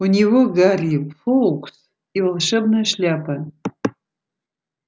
у него гарри фоукс и волшебная шляпа